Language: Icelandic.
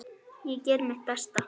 Ég geri mitt besta.